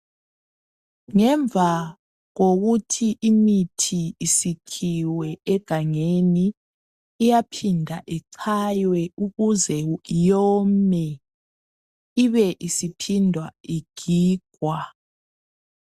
Ngemva kokuthi imithi sikhiwe egangeni iyaphinda ichaywe ukuze iwome ibe isiphinda igigwa